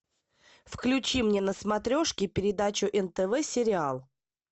включи мне на смотрешке передачу нтв сериал